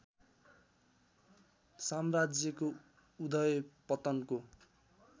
साम्राज्यको उदय पतनको